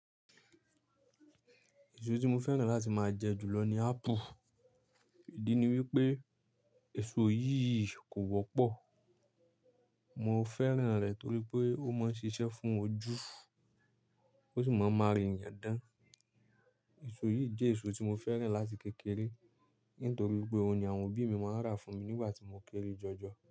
Èso tí mo fẹ́ràn láti máa jẹ jù lọ ni ápù. Ìdí ni wípé èso yìí kò wọ́pọ̀. Mo fẹ́ràn rẹ̀ torí pé ó máa ń ṣiṣẹ́ fún ojú, ó sì máa ń m'ara ènìyàn dán. Èso yìí jẹ́ èso tí mo fẹ́ràn láti kékeré, nítorí pé òun ni àwọn òbí mi máa ń rà fún mi nígbà tí mo kéré jọjọ.